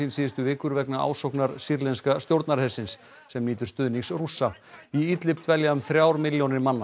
síðustu vikur vegna ásóknar sýrlenska stjórnarhersins sem nýtur stuðnings Rússa í Idlib dvelja um þrjár milljónir manna